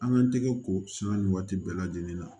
An ka tɛgɛ ko san nin waati bɛɛ lajɛlen na